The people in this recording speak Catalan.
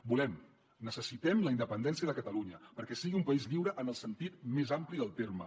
volem necessitem la independència de catalunya perquè sigui un país lliure en el sentit més ampli del terme